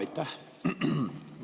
Aitäh!